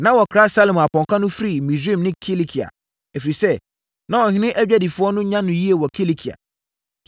Na wɔkra Salomo apɔnkɔ no firi Misraim ne Kilikia, ɛfiri sɛ, na ɔhene adwadifoɔ no nya no yie wɔ Kilikia.